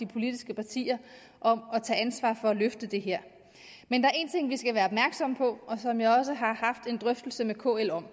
politiske partier om at tage ansvar for at løfte det her men der er en ting som vi skal være opmærksomme på og som jeg også har haft en drøftelse med kl om